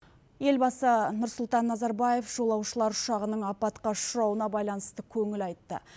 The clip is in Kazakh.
елбасы нұрсұлтан назарбаев жолаушылар ұшағының апатқа ұшырауына байланысты көңіл айтты